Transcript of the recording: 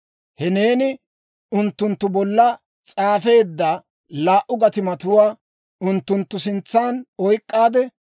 «He neeni unttunttu bolla s'aafeedda laa"u gatimatuwaa unttunttu sintsan oyk'k'aade,